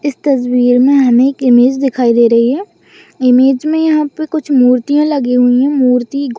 इस तस्वीर में हमें एक इमेज दिखाई दे रही है इमेज में यहां पर कुछ मूर्तियां लगी हुई है मूर्ति --